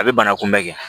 A bɛ bana kunbɛn kɛ